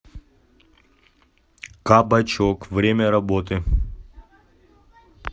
кабачок время работы